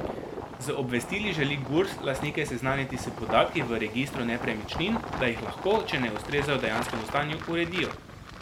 Z obvestili želi Gurs lastnike seznaniti s podatki v registru nepremičnin, da jih lahko, če ne ustrezajo dejanskemu stanju, uredijo.